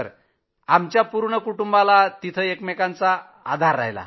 जी आमच्या पूर्ण कुटुंबाला तिथं एकमेकांचा आधार राहिला